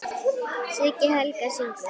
Siggi Helga: Syngur?